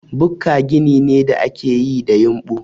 Bukka gini ne da ake yi da yumɓu.